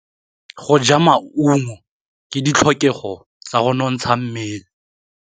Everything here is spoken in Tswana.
Go ja maungo ke ditlhokegô tsa go nontsha mmele.